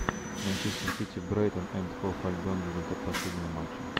манчестер сити брайтон энд хоув альбион результат последнего матча